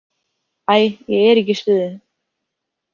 Æ, ég er ekki í stuði